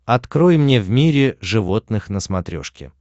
открой мне в мире животных на смотрешке